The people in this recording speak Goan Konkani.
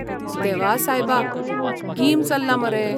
देवा सायबा, गीम चल्ला मरे!